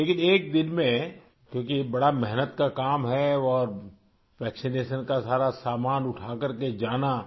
لیکن ایک دن میں کیوں کہ یہ بڑی محنت کا کام ہے اور ٹیکہ کاری کا سارا سامان اٹھا کر کے جانا